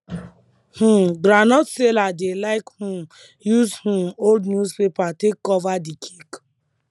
um groundnut seller dey like um use um old newspaper take cover d cake